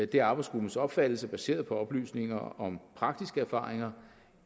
det er arbejdsgruppens opfattelse baseret på oplysninger om praktiske erfaringer